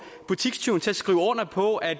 butikstyven til at skrive under på at